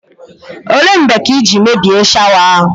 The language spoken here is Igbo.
Ole mgbe ka i jiri mebie shawa ahụ?